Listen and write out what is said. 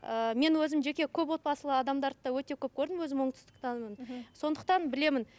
ыыы мен өзім жеке көпотбасылы адамдарды да өте көп көрдім өзім оңтүстіктенмін мхм сондықтан білемін